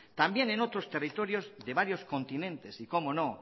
también en otros territorios de varios continentes y como no